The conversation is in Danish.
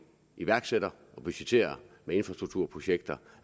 iværksætter og budgetterer med infrastrukturprojekter